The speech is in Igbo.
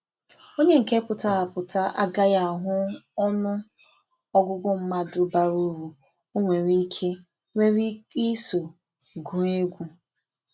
onye nke pụtara apụta a gaghị ahụ ọnụ ọgụgụ mmadụ bara uru o nwere ike nwere ike iso wee gụọ egwu